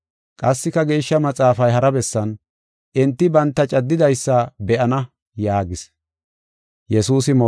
Qassika Geeshsha Maxaafay hara bessan, “Enti banta caddidaysa be7ana” yaagees.